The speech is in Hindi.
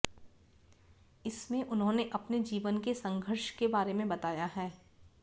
इसमें उन्होंने अपने जीवन के संघर्ष के बारे में बताया है